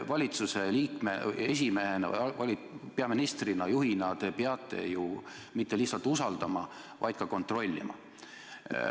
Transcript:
Valitsuse liikmena, erakonna esimehena, peaministrina, juhina te peate ju mitte ainult usaldama, vaid ka kontrollima.